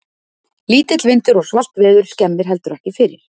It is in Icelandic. Lítill vindur og svalt veður skemmir heldur ekki fyrir.